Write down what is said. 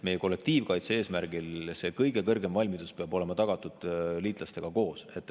Meie kollektiivkaitse eesmärgil peab kõige kõrgem valmidus olema tagatud liitlastega koos.